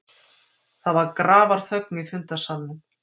Það var grafarþögn í fundarsalnum.